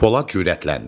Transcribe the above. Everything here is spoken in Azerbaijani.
Polad cürətləndi.